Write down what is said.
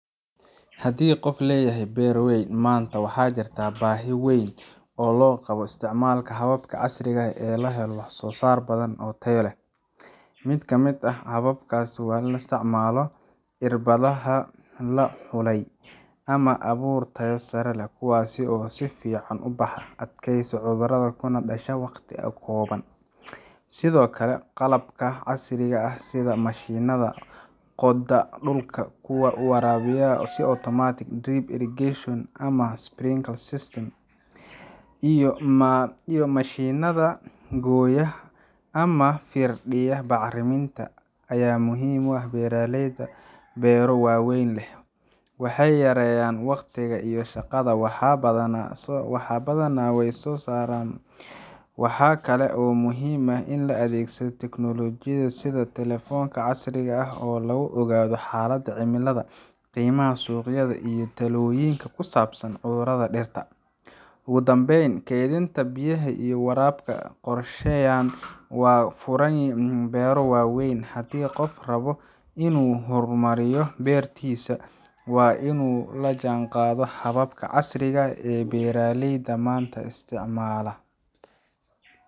Haddii qof leeyahay beer weyn, maanta waxaa jirta baahi weyn oo loo qabo isticmaalka hababka casriga ah si loo helo wax-soo-saar badan oo tayo leh. Mid ka mid ah hababkaas waa isticmaalka irbadaha la xulay ama abuur tayo sare leh, kuwaas oo si fiican u baxa, u adkaysta cudurrada, kuna dhasha waqti kooban. Sidoo kale, qalabka casriga ah sida mashiinnada qoda dhulka, kuwa waraabiya si otomaatig ah drip irrigation ama sprinkler systems, iyo mashiinnada gooya ama firdhiya bacriminta ayaa muhiim u ah beeraleyda beero waaweyn leh. Waxay yareeyaan waqtiga iyo shaqada, wax badanna way soo saaraan. Waxaa kale oo muhiim ah adeegsiga teknoolojiyadda sida telefoonka casriga ah oo lagu ogaado xaaladda cimilada, qiimaha suuqyada, iyo talooyin ku saabsan cudurrada dhirta. Ugu dambeyn, keydinta biyaha iyo waraabka qorsheysan waa furaha beero waaweyn. Haddii qof rabo inuu horumariyo beertiisa, waa inuu la jaanqaadaa hababka casriga ah ee beeralayda maanta ay isticmaala